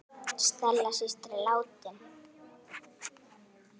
Stella systir er látin.